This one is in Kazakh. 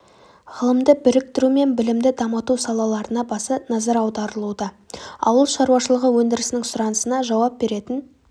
ғылымды біріктіру мен білімді дамыту салаларына баса назар аударылуда ауыл шаруашылығы өндірісінің сұранысына жауап беретін